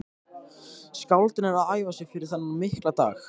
Skáldin eru að æfa sig fyrir þennan mikla dag.